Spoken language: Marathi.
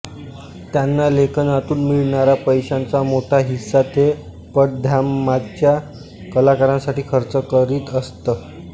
त्यांना लेखनातून मिळणाऱ्या पैशांचा मोठा हिस्सा ते पडद्यामागच्या कलाकारांसाठी खर्च करीत असत